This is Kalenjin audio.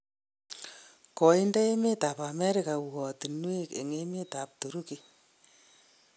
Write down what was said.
Koinde emet ab America uatinwek en emet ab Turuki